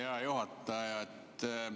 Hea juhataja!